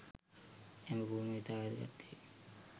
එම පුහුණුව ඉතා වැදගත් වේ